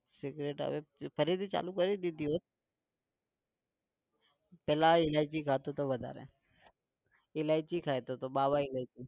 Cigarette હવે ફરીથી ચાલુ કરી દીધી એવું? પહેલા એ ઈલાયચી ખાતો હતો વધારે. ઈલાયચી ખાતો તો બાબા ઈલાયચી.